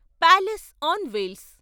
palace on wheels